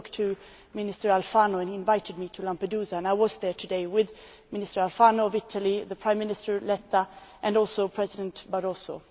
I spoke to Minister Alfano, he invited me to Lampedusa and I was there today with Minister Alfano of Italy, Prime Minister Letta and also President Barroso.